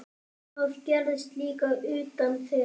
Það gerðist líka utan þeirra.